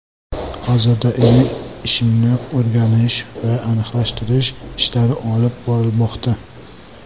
Hozirda ilmiy ishimni o‘rganish va aniqlashtirish ishlari olib borilmoqda.